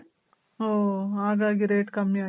ಓ ಹಾಗಾಗಿ rate ಕಮ್ಮಿ ಆಗಿದೆ